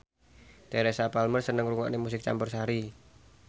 Teresa Palmer seneng ngrungokne musik campursari